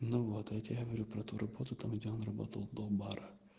ну вот я тебе говорю про ту работу там где он работал до бара